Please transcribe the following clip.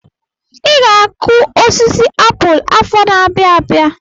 I ga-akụ osisi apụl afọ n'abia abịa.